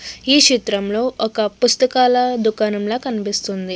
ఈ చిత్రం లో ఒక పుస్తకాల దుకాణంలా కనిపిస్తుంది.